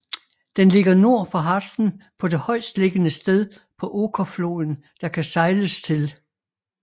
Den ligger nord for Harzen på det højestliggende sted på Okerfloden der kan sejles til